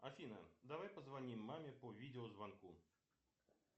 афина давай позвоним маме по видеозвонку